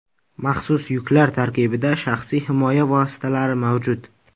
Maxsus yuklar tarkibida shaxsiy himoya vositalari mavjud.